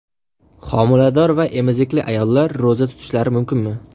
Homilador va emizikli ayollar ro‘za tutishlari mumkinmi?.